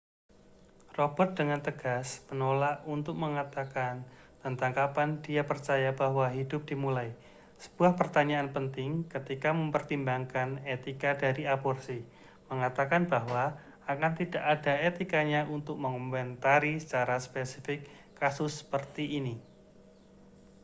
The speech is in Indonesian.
robert dengan tegas menolak untuk mengatakan tentang kapan dia percaya bahwa hidup dimulai sebuah pertanyaan penting ketika mempertimbangkan etika dari aborsi mengatakan bahwa akan tidak ada etikanya untuk mengomentari secara spesifik kasus seperti ini